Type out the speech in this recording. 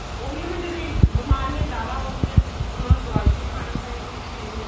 ਉਹੀ ਹੈ ਵੀ ਬਿਮਾਰੀਆਂ ਜਿਆਦਾ ਹੋਗਈਆਂ ਉਹਨਾ ਨੂੰ ਦਵਾਈ ਵੀ ਖਾਣੀ ਪਏਗੀ ਸਿਰ ਲਈ